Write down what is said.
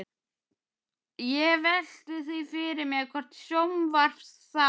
Ég velti því fyrir mér hvort sjónvarpsþátt